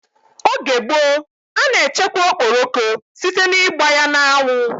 Oge gboo, a na echekwa okporoko site ná ịgba ya n'anwu